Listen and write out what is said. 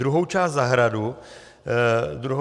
Druhou část zahrady jsme odmítli.